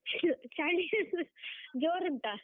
ಚಳಿ ಜೊರುಂಟ?